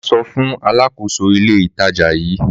Màá sọ fún alákòóso ilé ìtajà yí